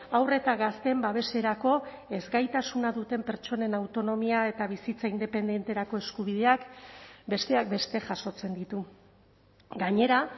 haur eta gazteen babeserako ezgaitasuna duten pertsonen autonomia eta bizitza independenterako eskubideak besteak beste jasotzen ditu gainera